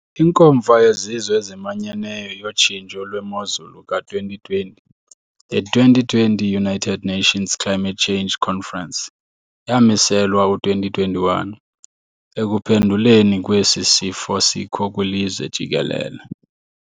INkomfa yeZizwe eziManyeneyo yoTshintsho lweMozulu ka 2020, The 2020 United Nations Climate Change Conference, yamiselwa u-2021 ekuphenduleni kwesi sifo sikho kwilizwe jikelele.